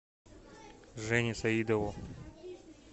жене саидову